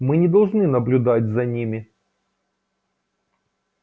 мы не должны наблюдать за ними